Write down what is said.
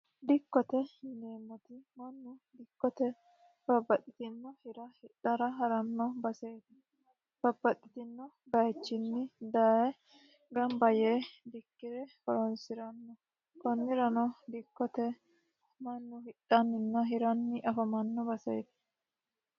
dikkote yineemmoti mannu dikkote babbaxitinno hira hidhara ha'ranno baseeti babbaxitino bayichinni daye gamba yee dikkire horonsiranno kunnirano dikkote mannu hidhanninna hiranni afamanno baseeti